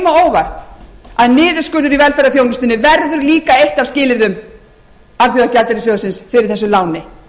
á óvart að niðurskurður í velferðarþjónustunni verður líka eitt af skilyrðum alþjóðagjaldeyrissjóðsins fyrir þessu láni